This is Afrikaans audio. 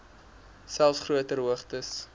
selfs groter hoogtes